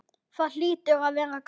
Það hlýtur að vera gaman?